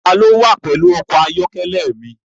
Ta ni ó wà pẹ̀lú ọkọ̀-ayọ́kẹ́lẹ́ mi?